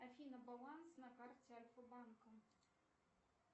афина баланс на карте альфа банка